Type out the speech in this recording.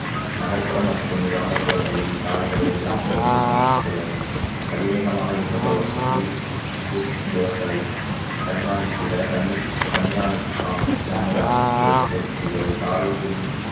நகர்ப்புற மற்றும் கிராமப்புறங்களில் சாலைகளை எல்லாம் முறையிலும் அமைத்துள்ளது அதிவேகமாக இயக்கப்படும் இய~ இயக்குபவர்களை கண்காணித்திட கண்~ கண்காணிப்பு cam~ camera க்களை பொருத்தியுள்ளது சாலை குறி